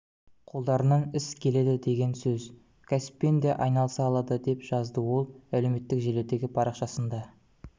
қолдарынан іс келеді деген сөз кәсіппен де айналыса алады деп жазды ол әлеуметтік желідегі парақшасында